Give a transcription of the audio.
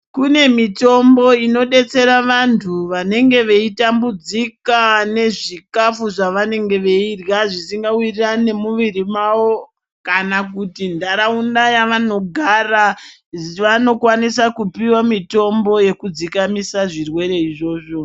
Kune mitombo inodetsera vantu vanenge veitambudzika nezvikafu zvevanenge veirya zvisingawirirani nemiwiri mavo kana kuti ntaraunda yevanogara. Vanokwanisa kupiwa mitombo yekudzikamisa zvirwere izvozvo.